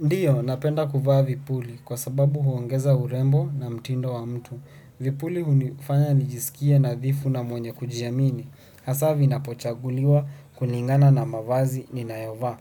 Ndiyo, napenda kuvaa vipuli kwa sababu huongeza urembo na mtindo wa mtu. Vipuli hunifanya nijisikie nadhifu na mwenye kujiamini. Hasa vinapo chaguliwa kulingana na mavazi ninayovaa.